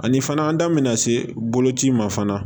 Ani fana an da mɛna se boloci in ma fana